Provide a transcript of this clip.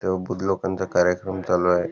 तग बुद्ध लोकांच कार्यक्रम चालू आहे.